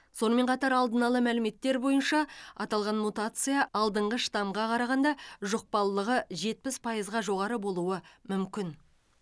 сонымен қатар алдын ала мәліметтер бойынша аталған мутация алдыңғы штамға қарағанда жұқпалылығы жетпіс пайызға жоғары болуы мүмкін